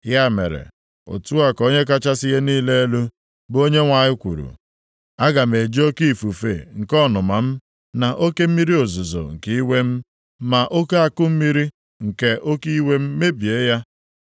“ ‘Ya mere, Otu a ka Onye kachasị ihe niile elu, bụ Onyenwe anyị kwuru, aga m eji oke ifufe nke ọnụma m, na oke mmiri ozuzo nke iwe m, ma oke akụmmiri nke oke iwe m mebie ya.